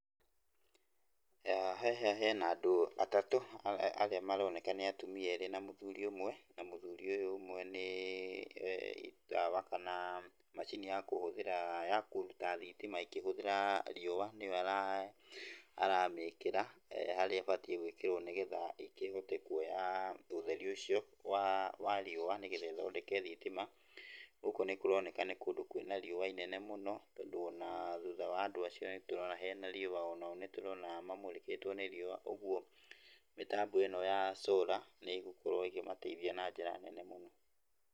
Haha hena andũ atatũ arĩa maroneka nĩ atumia erĩ na mũthuri ũmwe, na mũthuri ũyũ ũmwe ni itawa kana macini ya kũhũthĩra, ya kũruta thitima ĩkĩhũthĩra riũwa nĩyo ara, aramĩkĩra harĩa ĩbatiĩ gwĩkĩrwo nĩgetha ĩkĩhote kuoya ũtheri ũcio wa, wa riũwa nĩgetha ĩthondeke thitima. Gũkũ nĩkũroneka nĩ kũndũ kwĩna riũwa inene mũno tondũ ona thuutha wa andũ acio nĩtũrona hena riũwa, onao nĩtũrona mamũrĩkĩtwo nĩ riũwa, ũgwo mĩtambo ĩno ya solar nĩ ĩgũkorwo ĩkĩmateithia na njĩra nene mũno.